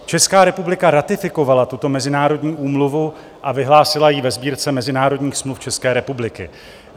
Česká republika ratifikovala tuto mezinárodní úmluvu a vyhlásila ji ve Sbírce mezinárodních smluv České republiky.